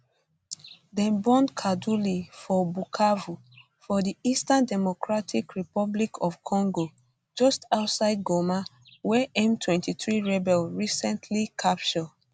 dem born kaduli for bukavu for di eastern democratic republic of congo just outside goma wey m23 rebels recently capture